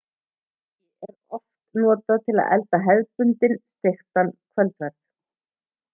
hangi er oft notað til að elda hefðbundinn steiktan kvöldverð